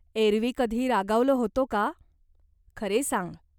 एरवी कधी रागावलो होतो का? खरे सांग.